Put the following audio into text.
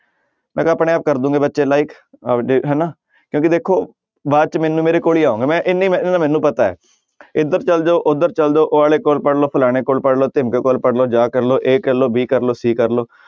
ਆਪਣੇ ਆਪ ਕਰ ਦਓਗੇ ਬੱਚੇ like ਆਪਦੇ ਹਨਾ ਕਿਉਂਕਿ ਦੇਖੋ ਬਾਅਦ 'ਚ ਮੈਨੂੰ ਮੇਰੇ ਕੋਲ ਹੀ ਆਓਗੇ ਮੈਂ ਮੈਨੂੰ ਪਤਾ ਹੈ ਇੱਧਰ ਚਲੇ ਜਾਓ ਉੱਧਰ ਚਲੇ ਜਾਓ, ਉਹ ਵਾਲੇ ਕੋਲ ਪੜ੍ਹ ਲਓ, ਫਲਾਣੇ ਕੋਲ ਪੜ੍ਹ ਲਓ, ਧਿਮਕੜੇ ਕੋਲ ਪੜ੍ਹ ਲਓ, ਜਾ ਕਰ ਲਓ a ਕਰ ਲਓ b ਕਰ ਲਓ c ਕਰ ਲਓ